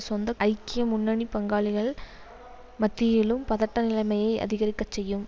சொந்த ஐக்கிய முன்னணி பங்காளிகள் மத்தியிலும் பதட்டநிலைமைகளை அதிகரிக்க செய்யும்